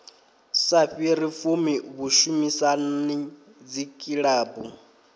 sa fhiri fumi vhushumisani dzikilabu